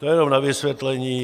To jenom na vysvětlení.